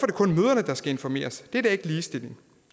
det kun mødrene der skal informeres det er da ikke ligestilling